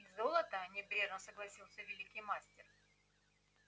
и золото небрежно согласился великий мастер